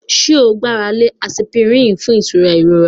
Do you rely on aspirin for pain relief?